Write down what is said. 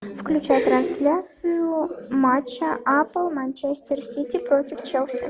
включай трансляцию матча апл манчестер сити против челси